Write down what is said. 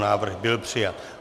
Návrh byl přijat.